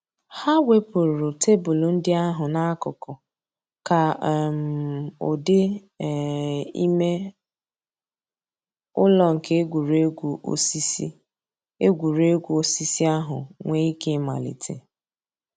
Hà wépụ̀rù tebụl ńdí àhụ̀ n'àkùkò kà um ǔ́dị̀ um ìmè ǔlọ̀ nke ègwè́ré́gwụ̀ òsìsì ègwè́ré́gwụ̀ òsìsì àhụ̀ nwee íké ị̀màlítè.